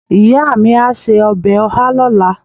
iya mi a se obe oha lola